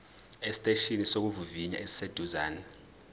esiteshini sokuvivinya esiseduze